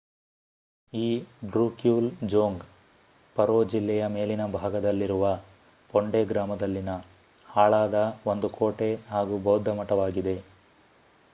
ಈ ಡ್ರೂಕ್ಯೂಲ್ ಜೋಂಗ್ ಪರೋ ಜಿಲ್ಲೆಯ ಮೇಲಿನ ಭಾಗದಲ್ಲಿರುವ ಪೊಂಡೆ ಗ್ರಾಮದಲ್ಲಿನ ಹಾಳಾದ ಒಂದು ಕೋಟೆ ಹಾಗೂ ಬೌದ್ಧ ಮಠವಾಗಿದೆ